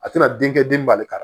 A tɛna denkɛ den bali ka